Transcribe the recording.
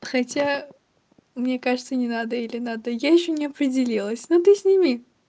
хотя мне кажется не надо или надо я ещё не определилась но ты сними